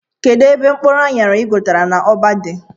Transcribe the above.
Kedụ ebe mkpụrụ anyara i ghotara n' ụgbọ dị?